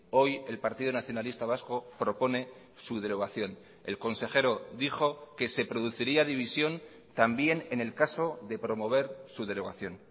hoy el partido nacionalista vasco propone su derogación el consejero dijo que se produciría división también en el caso de promover su derogación